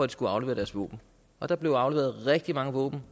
de kunne aflevere deres våben og der blev afleveret rigtig mange våben